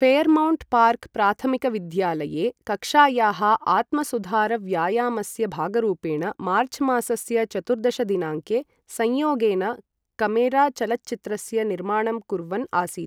Fairmount Park प्राथमिकविद्यालये कक्षायाः आत्मसुधारव्यायामस्य भागरूपेण मार्चमासस्य चतुर्दश दिनाङ्के संयोगेन कॅमेरा चलच्चित्रस्य निर्माणं कुर्वन् आसीत् ।